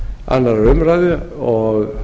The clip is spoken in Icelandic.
annarrar umræðu og